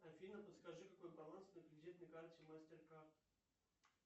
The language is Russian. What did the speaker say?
афина подскажи какой баланс на кредитной карте мастер кард